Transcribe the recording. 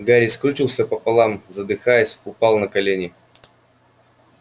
гарри скрючился пополам задыхаясь упал на колени